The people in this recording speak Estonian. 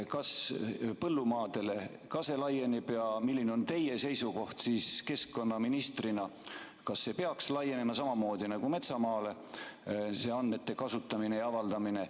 Kas põllumaadele ka see laieneb ja milline on teie seisukoht keskkonnaministrina, kas see andmete kasutamine ja avaldamine peaks laienema samamoodi nagu metsamaale?